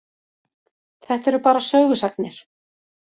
Þetta eru bara sögusagnir.